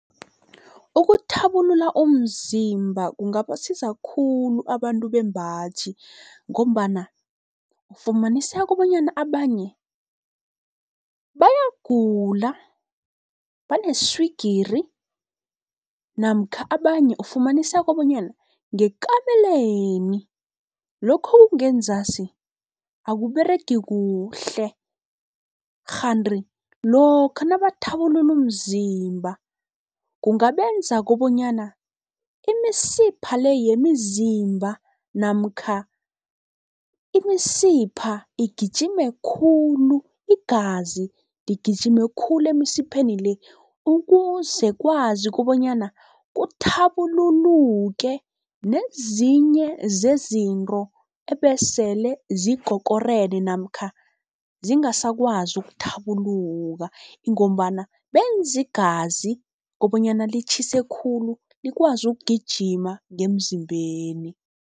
Ukuthabulula umzimba kungabasiza khulu abantu bembaji, ngombana ufumaniseka bonyana abanye bayagula baneswigiri namkha abanye ufumaniseka bonyana ngekameleni lokhu okungenzasi akuberegi kuhle. Kghanti lokha nabathabulula umzimba kungabenza kobonyana imisipha le yemizimba namkha imisipha igijime khulu, igazi ligijime khulu emisipheni le ukuze kwazi kobonyana kuthabululuke nezinye zezinto ebesele zikokorene namkha zingasakwazi ukuthabuluka. Ingombana benza igazi kobonyana litjhise khulu, likwazi ukugijima ngemzimbeni.